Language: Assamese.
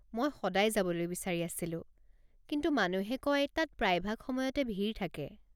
মই সদায় যাবলৈ বিচাৰি আছিলো, কিন্তু মানুহে কয় তাত প্ৰায়ভাগ সময়তে ভিৰ থাকে।